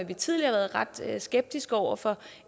vi tidligere har været ret skeptiske over for